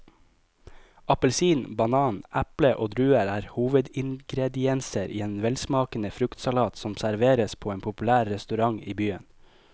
Appelsin, banan, eple og druer er hovedingredienser i en velsmakende fruktsalat som serveres på en populær restaurant i byen.